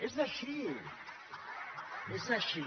és així és així